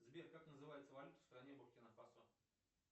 сбер как называется валюта в стране буркина фасо